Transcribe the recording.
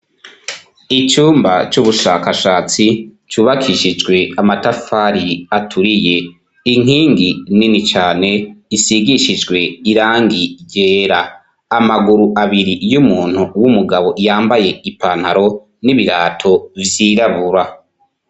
Icumba c'ubushakashatsi cubakishijwe amatafari aturiye; inkingi nini cane isigishijwe irangi ryera; amaguru abiri y'umuntu w'umugabo yambaye ipantaro n'ibirato vyirabura.